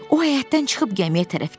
O həyətdən çıxıb gəmiyə tərəf getdi.